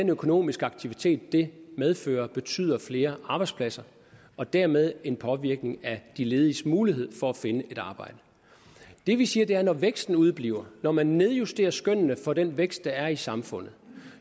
den økonomiske aktivitet det medfører betyder flere arbejdspladser og dermed en påvirkning af de lediges mulighed for at finde et arbejde det vi siger er at når væksten udebliver når man nedjusterer skønnene for den vækst der er i samfundet